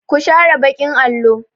Ku share baƙin allo!